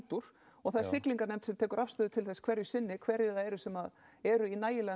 úr og það er siglinganefnd sem tekur afstöðu til þess hverju sinni hverjir það eru sem eru í nægilega